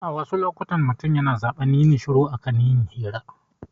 A wasu lokutan, mutum yana zaɓar yin shiru a kan yin hira